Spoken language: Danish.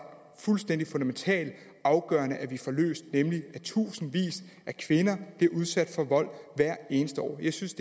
fuldstændig fundamentalt afgørende at vi får løst nemlig at tusindvis af kvinder bliver udsat for vold hvert eneste år jeg synes